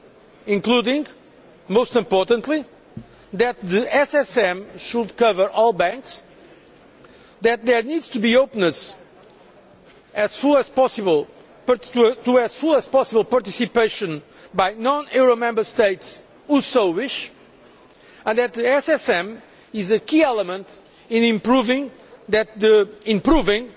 These include, most importantly, that the SSM should cover all banks, that there needs to be openness as full as possible and to have as full as possible participation by the non euro Member States which so wish, and that the SSM is a key element in proving